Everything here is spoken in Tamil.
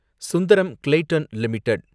Sundaram Clayton limited